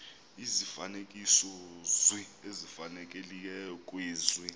izifanekisozwi ezifanelekileyo kwezi